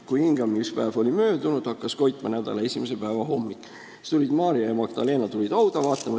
"Kui hingamispäev oli möödunud ja hakkas koitma nädala esimese päeva hommikul, tulid Maarja Magdaleena ja teine Maarja hauda vaatama.